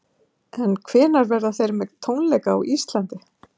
En hvenær verða þeir með tónleika á Íslandi?